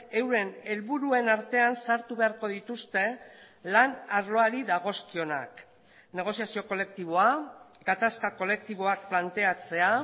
euren helburuen artean sartu beharko dituzte lan arloari dagozkionak negoziazio kolektiboa gatazka kolektiboak planteatzea